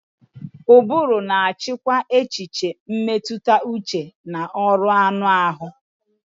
Ụbụrụ na-achịkwa echiche, mmetụta uche na ọrụ anụ ahụ.